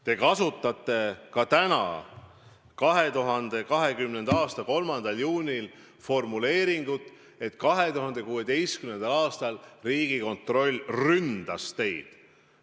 Te kasutate ka täna, 2020. aasta 3. juunil, formuleeringut, et 2016. aastal Riigikontroll ründas teid.